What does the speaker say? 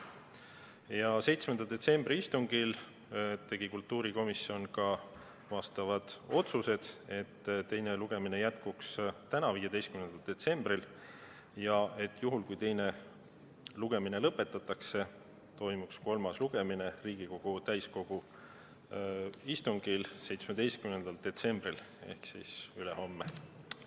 Ja 7. detsembri istungil tegi kultuurikomisjon ka vastavad otsused: et teine lugemine jätkuks täna, 15. detsembril, ja juhul, kui teine lugemine lõpetatakse, toimuks kolmas lugemine Riigikogu täiskogu istungil 17. detsembril ehk siis ülehomme.